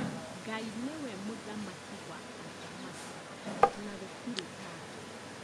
Ngai nĩwe mũthamaki wa athamaki na gũtirĩ take